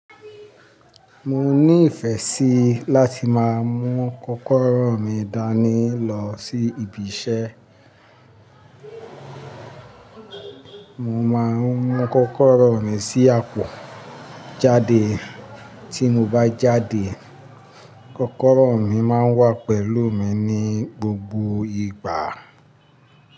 Mo ní ìfẹ́ sí láti máa mú kọ́kọ́rọ́ mi dání lọ sí ibi iṣẹ́. Mo máa ń mú kọ́kọ́rọ́ mi sí àpọ̀ jáde. Tí mo bá jáde, kọ́kọ́rọ́ mi máa ń wà pẹ̀lú mi ní gbogbo ìgbà.